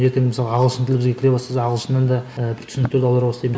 ертең мысалға ағылшын тілі бізге кіре бастаса ағылшыннан да і бір түсініктер аудара